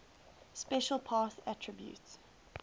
special path attribute